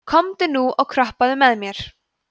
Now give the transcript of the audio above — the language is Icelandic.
komdu nú og kroppaðu með mér